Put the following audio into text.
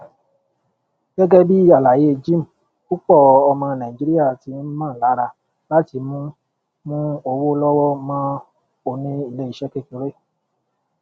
gẹgẹ bí àlàyé jim púpọ ọmọ nàìjíríà ti ń mọ lára láti mú mú owó lọwọ mọ oní iléiṣẹ kékeré